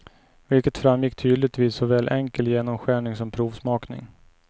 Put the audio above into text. Vilket framgick tydligt vid såväl enkel genomskärning som provsmakning.